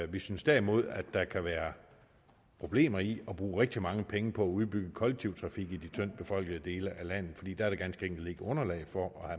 vi synes derimod at der kan være problemer i at bruge rigtig mange penge på at udbygge den kollektive trafik i de tyndtbefolkede dele af landet fordi der ganske enkelt ikke er underlag for at